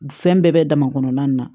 Fɛn bɛɛ bɛ dama kɔnɔna na